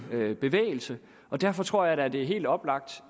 bevægelse og derfor tror jeg da det er helt oplagt